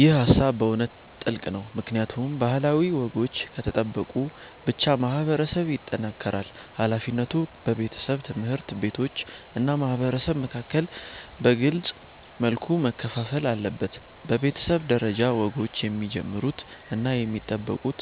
ይህ ሃሳብ በእውነት ጥልቅ ነው፣ ምክንያቱም ባህላዊ ወጎች ከተጠበቁ ብቻ ማህበረሰብ ይጠናከራል። ሃላፊነቱ በቤተሰብ፣ ትምህርት ቤቶች እና ማህበረሰብ መካከል በግልጽ መልኩ መከፋፈል አለበት። በቤተሰብ ደረጃ፣ ወጎችን የሚጀምሩት እና የሚጠብቁት